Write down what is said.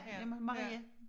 Med med Marie